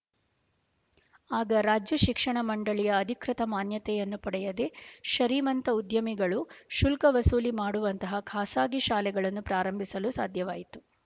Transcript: ಆಗ ರಾಜ್ಯ ಶಿಕ್ಷಣ ಮಂಡಳಿಯ ಅಧಿಕೃತ ಮಾನ್ಯತೆಯನ್ನು ಪಡೆಯದೆ ಶರೀಮಂತ ಉದ್ಯಮಿಗಳು ಶುಲ್ಕವಸೂಲಿ ಮಾಡುವಂತಹ ಖಾಸಗಿ ಶಾಲೆಗಳನ್ನು ಪ್ರಾರಂಭಿಸಲು ಸಾಧ್ಯವಾಯಿತು